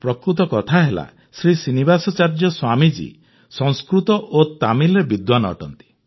ପ୍ରକୃତ କଥା ହେଲା ଶ୍ରୀନିବାସାଚାର୍ଯ୍ୟ ସ୍ୱାମୀଜୀ ସଂସ୍କୃତ ଓ ତାମିଲରେ ବିଦ୍ୱାନ ଅଟନ୍ତି